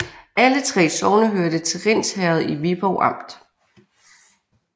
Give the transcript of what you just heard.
Alle 3 sogne hørte til Rinds Herred i Viborg Amt